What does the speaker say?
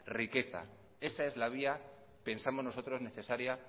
riqueza esa es la vía pensamos nosotros necesaria